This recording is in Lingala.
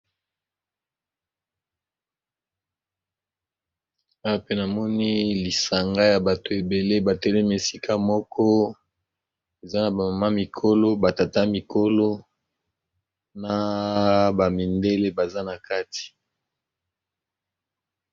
Awa ezali bongo, elili ya bilenge basi na mibali, batelemi lisanga pona ko kanga foto souvenir sima ya mosala bawuti kosala.